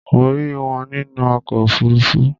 Mo rí wọn nínú ọkọ̀ òfuruufú.